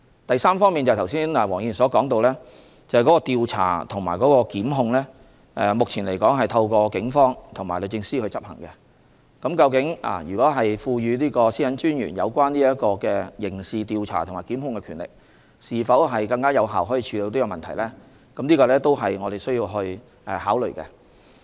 第三，黃議員剛才提到調查和檢控的工作，目前這些工作是透過警方和律政司執行的，但賦予專員刑事調查和檢控的權力能否更有效地處理問題呢？這也是我們需要考慮的。